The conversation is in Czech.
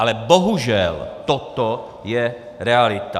Ale bohužel toto je realita.